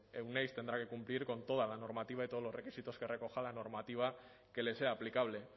euneiz tendrá que cumplir con toda la normativa y todos los requisitos que recoja la normativa que les sea aplicable